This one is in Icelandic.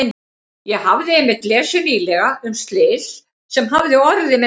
Ég hafði einmitt lesið nýlega um slys sem hafði orðið með þeim hætti.